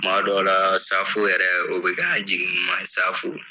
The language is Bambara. Kuma dɔw la safo yɛrɛ o be k'an jigin ɲuman safo